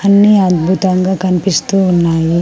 అన్నీ అద్భుతంగా కనిపిస్తూ ఉన్నాయి.